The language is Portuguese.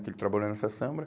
Que ele trabalhou nessa samba.